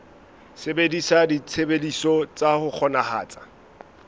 sebedisa ditshebeletso tsa ho kgonahatsa